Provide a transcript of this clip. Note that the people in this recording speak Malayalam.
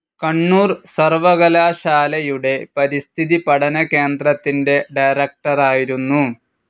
കണ്ണൂർ സർവ്വകലാശാലയുടെ പരിസ്ഥിതി പഠനകേന്ദ്രത്തിൻ്റെ ഡയറക്ടറായിരുന്നു.